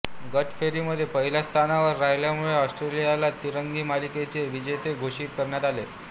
गट फेरीमध्ये पहिल्या स्थानावर राहिल्यामुळे ऑस्ट्रेलियाला तिरंगी मालिकेचे विजेते घोषित करण्यात आले